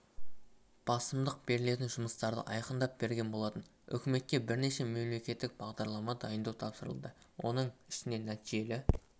басымдық берілетін жұмыстарды айқындап берген болатын үкіметке бірнеше мемлекеттік бағдарлама дайындау тапсырылды оның ішінде нәтижелі